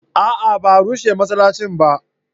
a'a ba a rushe masallacin ba